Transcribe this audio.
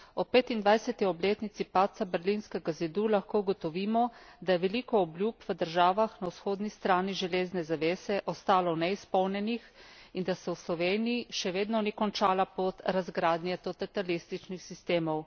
25. obletnici padca berlinskega zidu lahko ugotovimo, da je veliko obljub v državah na vzhodni strani železne zavese ostalo neizpolnjenih in da se v Sloveniji še vedno ni končala pot razgradnje totalitarističnih sistemov.